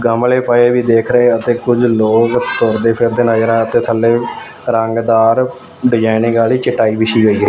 ਗਮਲੇ ਪਏ ਵੀ ਦੇਖ ਰਹੇ ਅਤੇ ਕੁਝ ਲੋਕ ਤੁਰਦੇ ਫਿਰਦੇ ਨਜ਼ਰ ਆ ਤੇ ਥੱਲੇ ਵੀ ਰੰਗਦਾਰ ਡਿਜਾਇਨਿੰਗ ਵਾਲੀ ਚਟਾਈ ਵਿਛੀ ਹੋਈ--